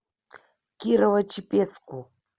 кирово чепецку